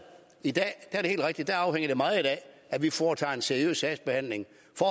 i dag er det helt rigtigt at det afhænger meget af at vi foretager en seriøs sagsbehandling for